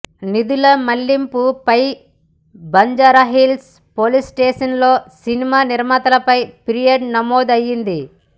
నిధుల మళ్లింపు పై బంజారాహిల్స్ పోలీస్ స్టేషన్ లో సినిమా నిర్మాతలపై ఫిర్యాదు నమోదు అయింది